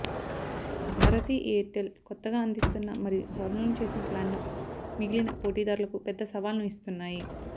Bharati Airtel కొత్తగా అందిస్తున్న మరియు సవరణలు చేసిన ప్లాన్లు మిగిలిన పోటీదారులకు పెద్ద సవాలును ఇస్తున్నాయి